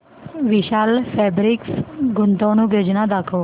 विशाल fabrics गुंतवणूक योजना दाखव